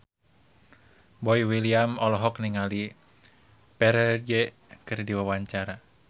Boy William olohok ningali Ferdge keur diwawancara